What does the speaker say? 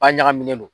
A ɲagaminen don